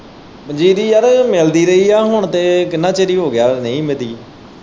ਪੰਜੀਰੀ ਯਾਰ ਮਿਲਦੀ ਰਹੀ ਹੈ ਹੁਣ ਤੇ ਕਿੰਨਾ ਹੀ ਚਿਰ ਹੋ ਗਿਆ ਹੁਣ ਨਹੀਂ ਮਿਲੀ।